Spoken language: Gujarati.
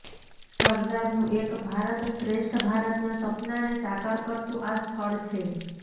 સરદારનું એક ભારત શ્રેષ્ઠ ભારતના સપનાને સાકાર કરતું આ સ્થળ છે